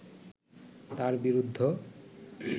তার বিরুদ্ধ